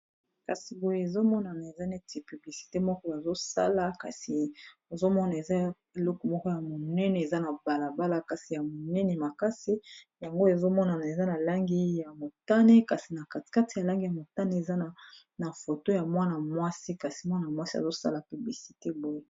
kasi boyo ezomonana eza neti publisite moko azosala kasi ezomona eza eleku moko ya monene eza na balabala kasi ya monene makasi yango ezomonana eza na langi ya motane kasi na katikat ya langi ya motane eza na foto ya mwana-mwasi kasi mwana-mwasi azosala piblisite boye